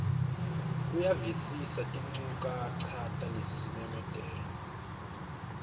uyavisisa tinchukaca talesimemetelo